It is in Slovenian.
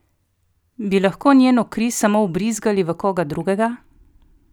Bi lahko njeno kri samo vbrizgali v koga drugega?